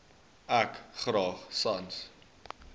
ek graag sans